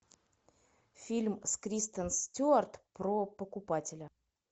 фильм с кристен стюарт про покупателя